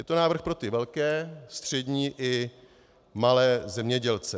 Je to návrh pro ty velké, střední i malé zemědělce.